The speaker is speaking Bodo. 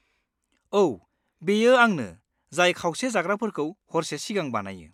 औ, बेयो आंनो जाय खावसे जाग्राफोरखौ हरसे सिगां बानायो।